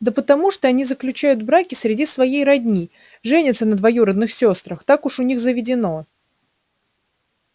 да потому что они заключают браки среди своей родни женятся на двоюродных сёстрах так уж у них заведено